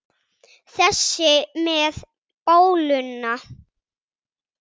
Þessi með bóluna?